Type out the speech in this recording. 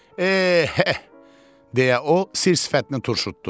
Eeh, deyə o sir-sifətini turşutdu.